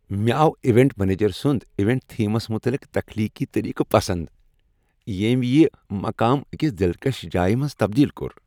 مےٚ آو event manager سنٛد ایونٹ تھیمس متعلق تخلیقی طریقہٕ پسند، ییٚمۍ یہ مقام أکس دلکش جایہ منٛز تبدیل کوٚر۔